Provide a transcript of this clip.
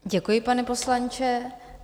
Děkuji, pane poslanče.